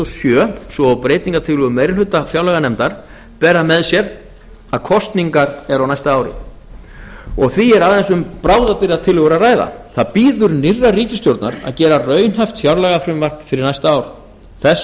sjö svo og breytingartillögur meiri hluta fjárlaganefndar bera með sér að kosningar eru á næsta ári og því er aðeins um bráðabirgðatillögur að ræða það bíður nýrrar ríkisstjórnar að gera raunhæft fjárlagafrumvarp fyrir næsta ár þess